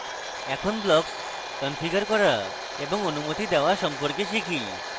এখন blocks configure করা এবং অনুমতি দেওয়া সম্পর্কে শিখি